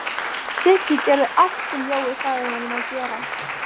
Siggi gerði allt sem Jói sagði honum að gera.